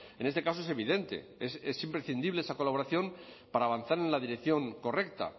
en este caso es evidente es imprescindible esa colaboración para avanzar en la dirección correcta